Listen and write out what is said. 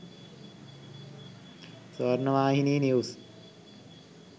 swarnavahini news